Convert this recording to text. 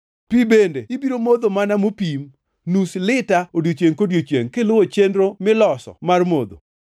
Pi bende ibiro modho mana mopim, nus lita odiechiengʼ kodiechiengʼ, kiluwo chenro miloso mar modho.